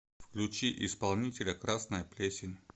включи исполнителя красная плесень